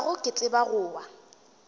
gago ke tseba go wa